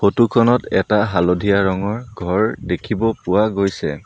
Photo খনত এটা হালধীয়া ৰঙৰ ঘৰ দেখিব পোৱা গৈছে।